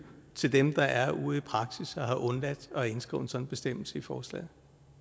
til dem der er ude i praksis og have undladt at indskrive en sådan bestemmelse i forslaget